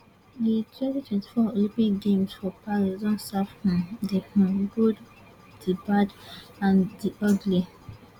di twenty twenty four olympic games for paris don serve um di um good di bad and di ugly